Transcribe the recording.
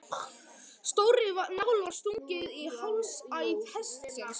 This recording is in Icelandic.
Stórri nál var stungið í hálsæð hestsins.